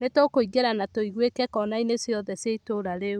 Nĩ tũkũingĩra na tũigwĩke konai-inĩ ciothe cia itũũra rĩu.